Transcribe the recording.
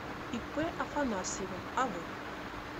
ип афанасьева ав